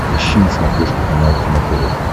ищи на смотрешке канал кино тв